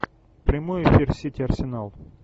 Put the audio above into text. прямой эфир сити арсенал